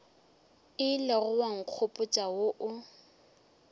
ilego wa nkgopotša wo o